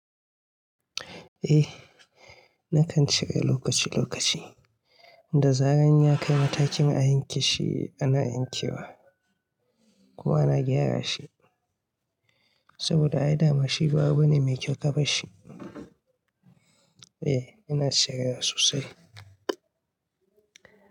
Eh, nakan shiga lokaci lokaci. Da zaran ya kai matakin a yanke shi, ana yankewa kuma ana gyara shi saboda ai dama shiba abune mai kyau kafa shi. Eh, ina shiga sosai.